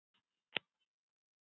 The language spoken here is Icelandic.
Þín dóttir, Anna Guðrún.